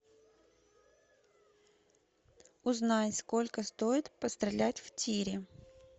узнай сколько стоит пострелять в тире